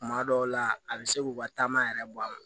Kuma dɔw la a bi se k'u ka taama yɛrɛ bɔ a kɔnɔ